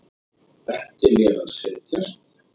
Benti mér að setjast.